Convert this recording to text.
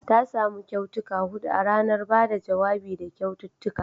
Ta samu kyautuka hudu a ranar ba da jawabi da kyaututtuka